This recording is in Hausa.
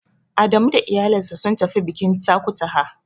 Adamu da iyalinsa sun tafi bikin Takutaha.